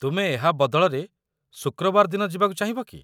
ତୁମେ ଏହା ବଦଳରେ ଶୁକ୍ରବାର ଦିନ ଯିବାକୁ ଚାହିଁବ କି?